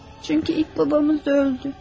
Çünki ilk atamız da öldü.